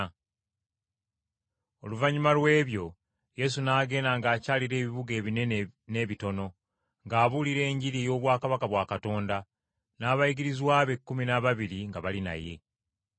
Oluvannyuma lw’ebyo Yesu n’agenda ng’akyalira ebibuga ebinene n’ebitono ng’abuulira Enjiri y’obwakabaka bwa Katonda, n’abayigirizwa be ekkumi n’ababiri nga bali naye.